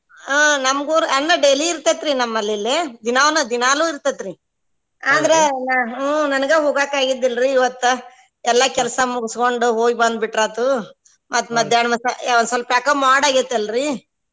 ಹ್ಮ್ ನಮ್ ಊರ್ ಅಂದ್ರ daily ಇರ್ತೆತ್ರಿ ನಮ್ಮಲ್ಲಿ ಇಲ್ಲೆ ದಿನಾ~ ದಿನಾಲು ಇರ್ತೆತ್ರಿ ಆದ್ರ ಹ್ಮ್ ನನಗ ಹೊಗಾಕ ಆಗಿದ್ದಿಲ್ರಿ ಇವತ್ತ ಎಲ್ಲಾ ಕೆಲ್ಸಾ ಮುಗ್ಸ್ಕೊಂಡು ಹೋಗಿ ಬಂದ್ ಬಿಟ್ರಾತು ಮತ್ತ್ ಮದ್ಯಾನ್ಹ ಒಂದ್ ಸ್ವಲ್ಪ ಯಾಕೋ ಮೋಡ ಆಗೇತಿ ಅಲ್ರೀ?